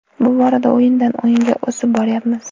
Bu borada o‘yindan o‘yinga o‘sib boryapmiz”.